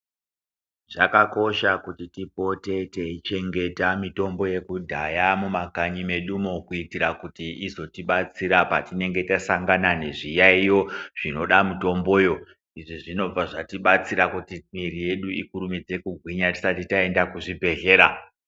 Zvakakosha kuti tipote teichengeta mitombo yekudhaya mumakanyi medu mo kuitira kuti izotibatsira patinenge tasangana nezviyaiyo zvinoda mitomboyo izvi zvinobva zvatibatsira Kuti mwiri yedu ikasike kugwinya tisati taenda kuzvibhedhlera.